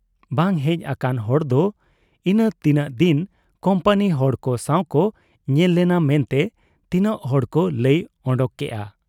ᱵᱟᱝ ᱦᱮᱡ ᱟᱠᱟᱱ ᱦᱚᱲᱫᱚ ᱤᱱᱟᱹ ᱛᱤᱱᱟᱹᱜ ᱫᱤᱱ ᱠᱩᱢᱯᱟᱹᱱᱤ ᱦᱚᱲᱠᱚ ᱥᱟᱶᱠᱚ ᱧᱮᱞ ᱞᱮᱱᱟ ᱢᱮᱱᱛᱮ ᱛᱤᱱᱟᱹᱜ ᱦᱚᱲᱠᱚ ᱞᱟᱹᱭ ᱚᱰᱚᱠ ᱠᱮᱜ ᱟ ᱾